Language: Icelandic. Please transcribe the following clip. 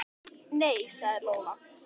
Nei, sagði Lóa.